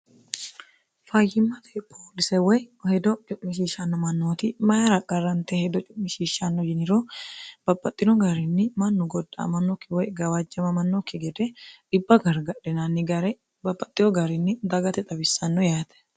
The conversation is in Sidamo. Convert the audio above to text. fayyimmate poolise woy hedo cu'mishiishshnno mannooti mayira qarrante hedo cu'mishiishshanno yiniro babbaxxino gaarinni mannu godda amannokki woy gawaajjamamannokki gede dhibba gargadhinaanni gare babbaxxino garinni dagate xawissanno yaate